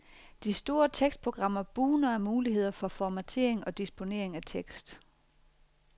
De store tekstprogrammer bugner af muligheder for formatering og disponering af tekst.